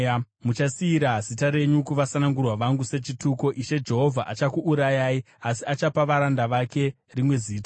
Muchasiyira zita renyu kuvasanangurwa vangu sechituko; Ishe Jehovha achakuurayai, asi achapa varanda vake rimwe zita.